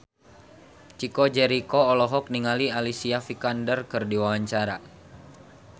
Chico Jericho olohok ningali Alicia Vikander keur diwawancara